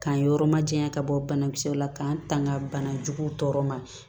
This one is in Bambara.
K'an yɔrɔ majanya ka bɔ banakisɛw la k'an tanga bana juguw tɔɔrɔ ma